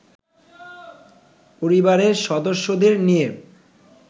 পরিবারের সদস্যদের নিয়ে